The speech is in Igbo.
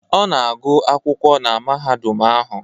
Ọ na-agụ akwụkwọ na mahadum ahụ